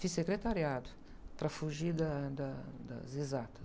Fiz secretariado, para fugir da, da, das exatas.